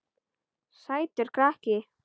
Sætur krakki!